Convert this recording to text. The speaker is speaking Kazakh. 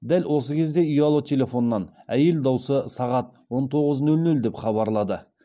дәл осы кезде ұялы телефоннан әйел даусы сағат он тоғыз нөл нөл деп хабарлады